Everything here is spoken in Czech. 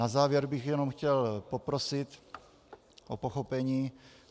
Na závěr bych jenom chtěl poprosit o pochopení.